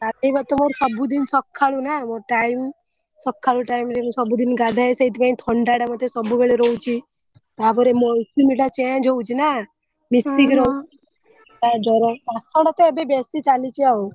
ଗାଧେଇବା ତ ମୋର ସବୁଦିନ ସଖାଳୁ ନା ମୋ time ସଖାଳ time ରେ ମୁଁ ସବୁଦିନ ଗାଧାଏ ସେଇଥିପଇଁ ଥଣ୍ଡାଟା ମତେ ସବୁବେଳେ ରହୁଛି ତାପରେ ମୋ routine ଟା change ହଉଛି ନା ମିଶିକି ରହୁ ହଁ ହଁ ଆ ଜ୍ବର ଆଷାଢ ତ ଏବେ ବେଶୀ ଚାଲିଛି ଆଉ।